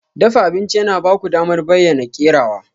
Dafa abinci yana ba ku damar bayyana kerawa.